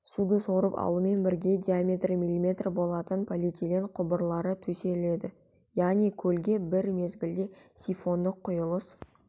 суды сорып алумен бірге диаметрі мм болатын полиэтилен құбырлары төселеді яғни көлге бір мезгілде сифондық құйылыс